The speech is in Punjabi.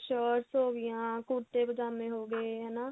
shirts ਹੋ ਗਈਆਂ ਕੁੜਤੇ ਪਜਾਮੇ ਹੋਗੇ ਹਨਾ